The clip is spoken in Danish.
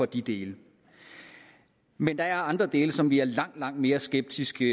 de dele men der er andre dele som vi er langt langt mere skeptiske